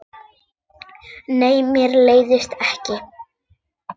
Nei, mér leiðist ekki.